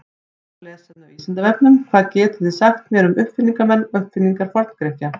Frekara lesefni af Vísindavefnum: Hvað getið þið sagt mér um uppfinningamenn og uppfinningar Forngrikkja?